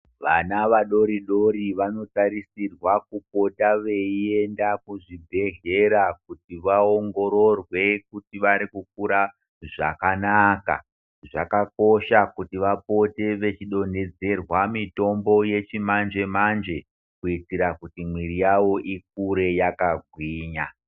Vana vadoro-dori vanotarisirwa kupota veienda kuzvibhedhlera kuti vaongororwe kuti varikukura zvakanaka. Zvakakosha kuti vapote vechidonhedzerwa mitombo yechimanje-manje, kuitira kuti mwiri yavo ikure yakagwinya.